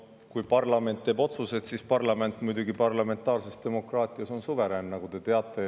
Kui parlament teeb otsused, siis parlament muidugi parlamentaarses demokraatias on suverään, nagu te teate.